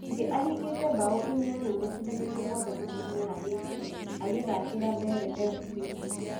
Ngigi ahingĩte mbao inyanya macindanoine mothe ma kĩmera gĩkĩ agĩthakĩra Mbeere Fc